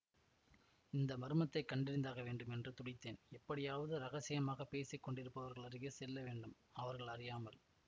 இந்த மர்மத்தைக் கண்டறிந்தாக வேண்டும் என்று துடித்தேன் எப்படியாவது இரகசியமாக பேசி கொண்டிருப்பவர்கள் அருகே செல்லவேண்டும் அவர்கள் அறியாமல்